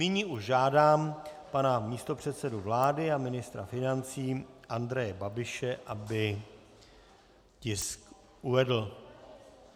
Nyní už žádám pana místopředsedu vlády a ministra financí Andreje Babiše, aby tisk uvedl.